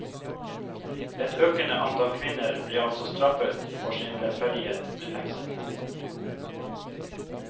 Et økende antall kvinner ble altså straffet for sin lettferdighet med fengsel.